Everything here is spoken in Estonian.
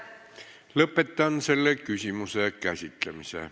Lõpetan selle küsimuse käsitlemise.